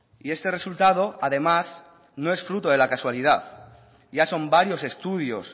y este resultado además no es fruto de la casualidad ya son varios estudios